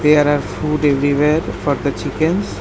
There are food everywhere for the chickens.